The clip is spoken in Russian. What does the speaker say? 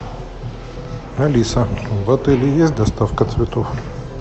алиса в отеле есть доставка цветов